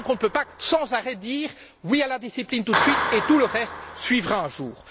Nous ne pouvons donc pas, sans arrêt, dire oui à la discipline tout de suite, et tout le reste suivra un jour.